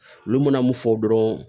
Olu mana mun fɔ dɔrɔn